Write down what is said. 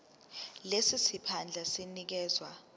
lesi siphandla sinikezwa